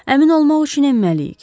Əmin olmaq üçün enməliyik.